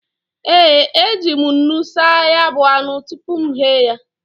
E, e ji m nnu saa ya bụ anụ tupu m ghee ya.